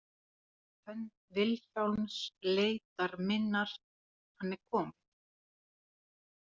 Hönd Vilhjálms leitar minnar Hann er kominn.